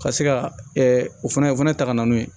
Ka se ka o fana o fana ta ka na n'o ye